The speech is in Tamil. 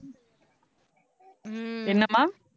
என்னம்மா